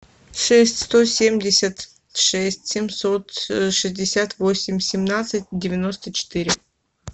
шесть сто семьдесят шесть семьсот шестьдесят восемь семнадцать девяносто четыре